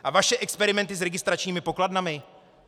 A vaše experimenty s registračními pokladnami?